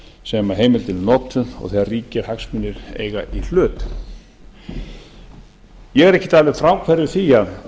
sem heimildin er notuð og þegar ríkir hagsmunir eiga í hlut ég er ekkert alveg fráhverfur því